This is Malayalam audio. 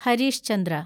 ഹരീഷ് ചന്ദ്ര